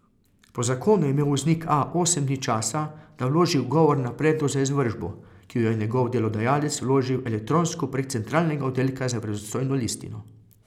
Po zakonu je imel voznik A osem dni časa, da vloži ugovor na predlog za izvršbo, ki jo je njegov delodajalec vložil elektronsko prek Centralnega oddelka za verodostojno listino.